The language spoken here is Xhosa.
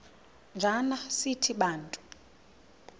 njana sithi bantu